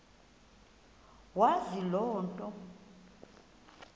wazi loo nto